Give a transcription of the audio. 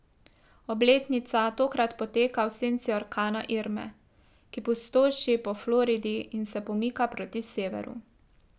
Obletnica tokrat poteka v senci orkana Irme, ki pustoši po Floridi in se pomika proti severu.